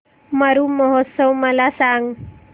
मरु महोत्सव मला सांग